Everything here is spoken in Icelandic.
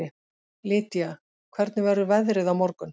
Lýdía, hvernig verður veðrið á morgun?